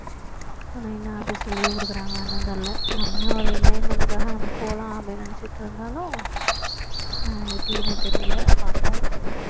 நைனா office ல leave கொடுக்குறாங்களா என்னன்னு தெரியல நம்மளோட enjoyment காக நம்ம போலாம் அப்படின்னு நினைச்சிட்டு இருந்தாலும் அஹ் எப்படின்னு தெரியல பார்ப்போம்